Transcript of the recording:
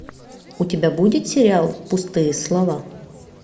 у тебя будет сериал пустые слова